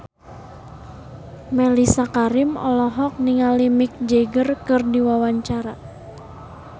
Mellisa Karim olohok ningali Mick Jagger keur diwawancara